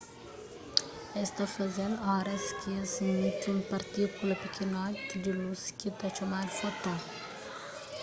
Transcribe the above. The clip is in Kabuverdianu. es ta faze-l oras k-es imiti un partíkula pikinotinhu di lus ki ta txomadu foton